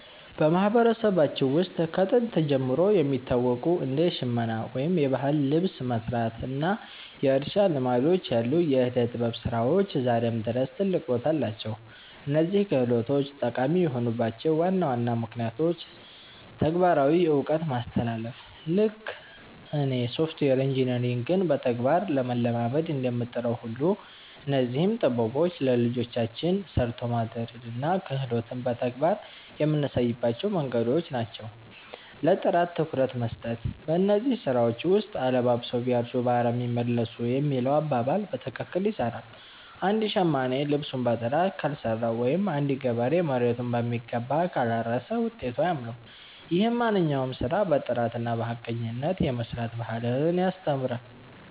በማህበረሰባችን ውስጥ ከጥንት ጀምሮ የሚታወቁ እንደ ሽመና (የባህል ልብስ መስራት) እና የእርሻ ልማዶች ያሉ የዕደ-ጥበብ ስራዎች ዛሬም ድረስ ትልቅ ቦታ አላቸው። እነዚህ ክህሎቶች ጠቃሚ የሆኑባቸው ዋና ዋና ምክንያቶች ተግባራዊ እውቀት ማስተላለፍ፦ ልክ እኔ ሶፍትዌር ኢንጂነሪንግን በተግባር ለመለማመድ እንደምጥረው ሁሉ፣ እነዚህም ጥበቦች ለልጆቻችን 'ሰርቶ ማደርን' እና 'ክህሎትን' በተግባር የምናሳይባቸው መንገዶች ናቸው። ለጥራት ትኩረት መስጠት፦ በእነዚህ ስራዎች ውስጥ 'አለባብሰው ቢያርሱ በአረም ይመለሱ' የሚለው አባባል በትክክል ይሰራል። አንድ ሸማኔ ልብሱን በጥራት ካልሰራው ወይም አንድ ገበሬ መሬቱን በሚገባ ካላረሰ ውጤቱ አያምርም። ይህም ማንኛውንም ስራ በጥራትና በሐቀኝነት የመስራት ባህልን ያስተምራል።